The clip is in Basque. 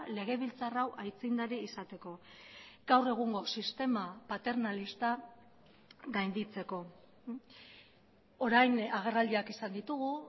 legebiltzar hau aitzindari izateko gaur egungo sistema paternalista gainditzeko orain agerraldiak izan ditugu